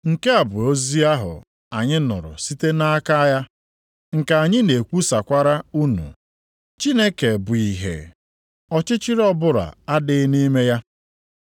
Nke a bụ ozi ahụ anyị nụrụ site nʼaka ya, nke anyị na-ekwusakwara unu. Chineke bụ ìhè, ọchịchịrị ọbụla adịghịkwa nʼime ya.